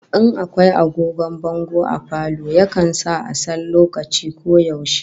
In akwai agogon bango a falo, yakan sa a san lokaci ko yaushe